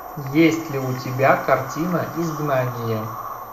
есть ли у тебя картина изгнание